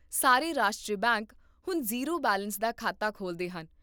ਸਾਰੇ ਰਾਸ਼ਟਰੀ ਬੈਂਕ ਹੁਣ ਜ਼ੀਰੋ ਬੈਲੇਂਸ ਦਾ ਖਾਤਾ ਖੋਲਦੇ ਹਨ